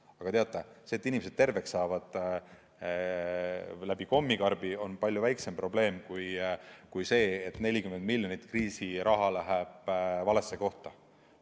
Aga teate, see, et inimesed saavad terveks ehk ka tänu kommikarbile, on palju väiksem probleem kui see, et 40 miljonit kriisiraha läheb valesse kohta.